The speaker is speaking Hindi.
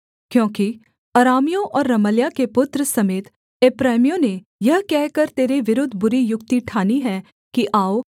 क्योंकि अरामियों और रमल्याह के पुत्र समेत एप्रैमियों ने यह कहकर तेरे विरुद्ध बुरी युक्ति ठानी है कि आओ